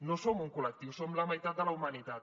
no som un col·lectiu som la meitat de la humanitat